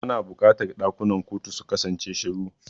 Ana buƙatar ɗakunan kotu su kasance shiru.